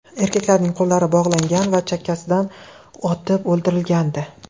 Erkaklarning qo‘llari bog‘langan va chakkasidan otib o‘ldirilgandi.